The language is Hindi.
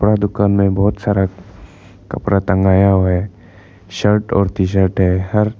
दुकानदार में बहुत सारा कपड़ा टंगाया हुआ है शर्ट और टी शर्ट है हर--